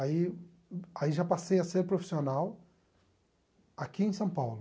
Aí aí já passei a ser profissional aqui em São Paulo.